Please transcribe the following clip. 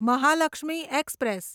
Mahalakshmi express